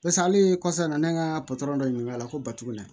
Barisa hali kɔfɛ a nana ne ka patɔrɔn dɔ ɲininka a la ko batogo na